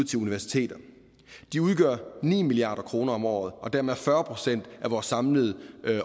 til universiteterne de udgør ni milliard kroner om året og dermed fyrre procent af vores samlede